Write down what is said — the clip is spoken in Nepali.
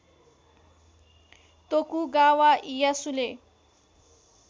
तोकुगावा इयासुले